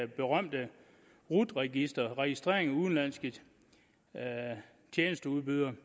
berømte rut register registrering af udenlandske tjenesteudbydere